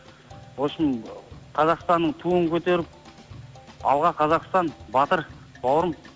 вообщем қазақстанның туын көтеріп алға қазақстан батыр бауырым